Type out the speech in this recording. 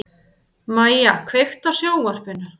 Mæja, kveiktu á sjónvarpinu.